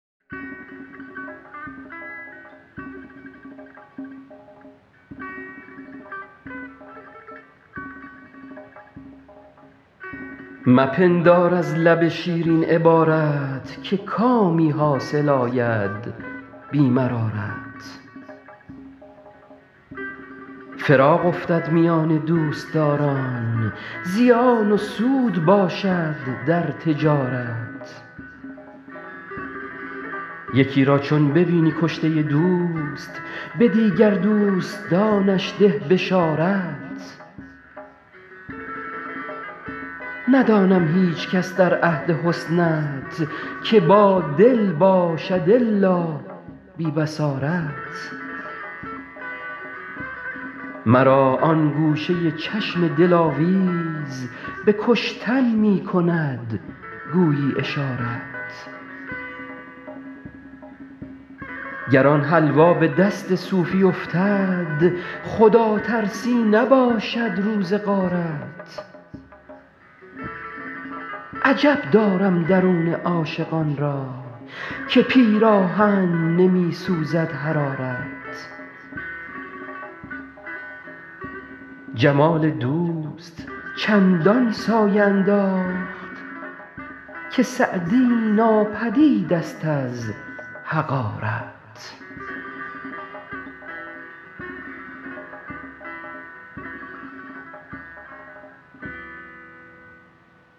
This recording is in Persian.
مپندار از لب شیرین عبارت که کامی حاصل آید بی مرارت فراق افتد میان دوستداران زیان و سود باشد در تجارت یکی را چون ببینی کشته دوست به دیگر دوستانش ده بشارت ندانم هیچکس در عهد حسنت که بادل باشد الا بی بصارت مرا آن گوشه چشم دلاویز به کشتن می کند گویی اشارت گر آن حلوا به دست صوفی افتد خداترسی نباشد روز غارت عجب دارم درون عاشقان را که پیراهن نمی سوزد حرارت جمال دوست چندان سایه انداخت که سعدی ناپدید ست از حقارت